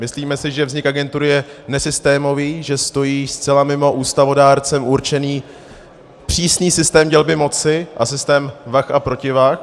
Myslíme si, že vznik agentury je nesystémový, že stojí zcela mimo ústavodárcem určený přísný systém dělby moci a systém vah a protivah.